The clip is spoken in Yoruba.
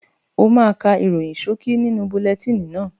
O máa ká ìròyìn ṣókí nínú bulẹtíìnì náà.